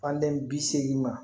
Fandɛ bi seegin ma